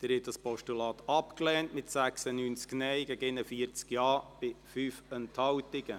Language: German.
Sie haben dieses Postulat abgelehnt, mit 96 Nein- gegen 41 Ja-Stimmen bei 5 Enthaltungen.